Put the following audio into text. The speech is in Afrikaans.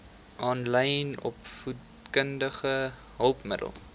aanlyn opvoedkundige hulpmiddele